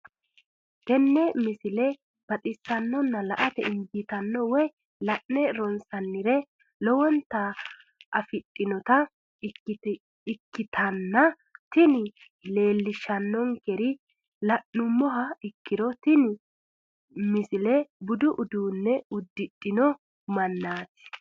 tenne misile baxisannonna la"ate injiitanno woy la'ne ronsannire lowote afidhinota ikkitanna tini leellishshannonkeri la'nummoha ikkiro tini misile budu uduunne uddidhino mannaati.